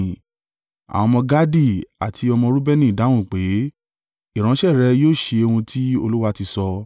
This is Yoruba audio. Àwọn ọmọ Gadi àti ọmọ Reubeni dáhùn pé, “Ìránṣẹ́ rẹ yóò ṣe ohun tí Olúwa ti sọ.